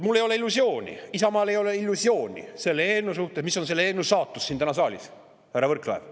Mul ei ole illusiooni ja ka Isamaal ei ole illusiooni selle eelnõu suhtes, selle suhtes, mis on selle eelnõu saatus täna siin saalis, härra Võrklaev.